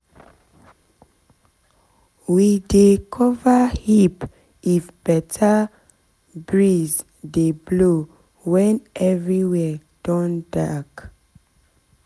we dey cover heap if better bring dey blow when everywhere don dey dark